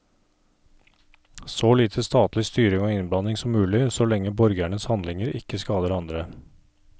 Så lite statlig styring og innblanding som mulig, så lenge borgernes handlinger ikke skader andre.